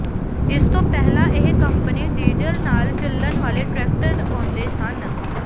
ਇਸ ਤੋਂ ਪਹਿਲਾਂ ਇਹ ਕੰਪਨੀ ਡੀਜ਼ਲ ਨਾਲ ਚੱਲਣ ਵਾਲੇ ਟ੍ਰੈਕਟਰ ਆਉਂਦੇ ਸਨ